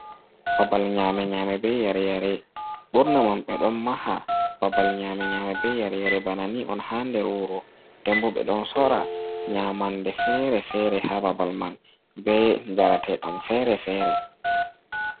Babal nyame nyame be yare yare ɓurna man ɓe ɗon maha baabal nyame nyame be yare yare bana ni on ha nder wuro denbo ɓe ɗon sora nyamande fere-fere ha baabal man be jarateɗam fere-fere.